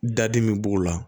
Dadimi b'o la